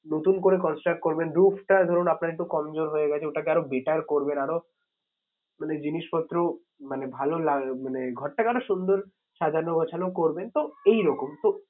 নতুন করে construct করবেন। roof টা ধরুন আপনার একটু কমজোর হয়ে গেছে ওটাকে আরো better করবেন আরো মানে জিনিসপত্র মানে ভালো মানে ঘরটাকে আরো সুন্দর সাজানো গোছানো করবেন so এই রকম so